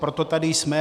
Proto tady jsme.